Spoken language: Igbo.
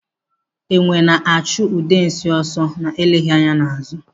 Enwe na-achụ Udensi ọsọ na-eleghị anya n'azụ.